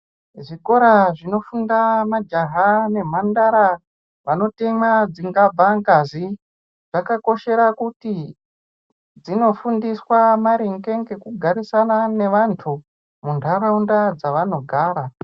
Zvikora zvinofunda majaha nemhandara vanotemwa dzingabva ngazi dzakakoshera kuti dzinofundiswa maringe ngekugarisana ngevantu muntaraunda dzavanogara.